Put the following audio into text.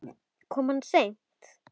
Kom hann seint?